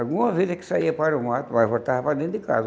Alguma vez é que saía para o mato, mas voltava para dentro de casa.